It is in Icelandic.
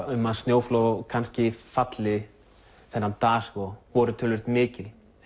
um að snjóflóð kannski falli þennan dag voru töluvert mikil